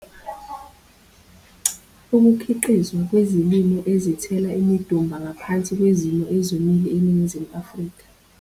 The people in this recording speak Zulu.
Ukukhiqizwa kwezilimo ezithela imidumba ngaphansi kwezimo ezomile eNingizimu Afrika